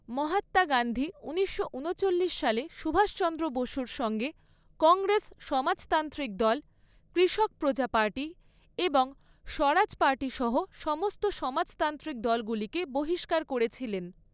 মহাত্মা গান্ধী ঊনিশশো ঊনচল্লিশ সালে সুভাষ চন্দ্র বসুর সঙ্গে কংগ্রেস সমাজতান্ত্রিক দল, কৃষক প্রজা পার্টি এবং স্বরাজ পার্টি সহ সমস্ত সমাজতান্ত্রিক দলগুলিকে বহিষ্কার করেছিলেন।